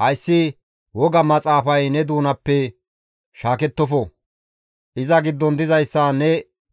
Hayssi woga Maxaafay ne doonappe shaakettofo; iza giddon dizayssa ne